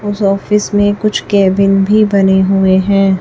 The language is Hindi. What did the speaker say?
उस ऑफिस में कुछ केबिन भी बने हुए हैं।